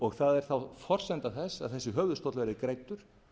það er þá forsenda þess að þessi höfuðstóll verði greiddur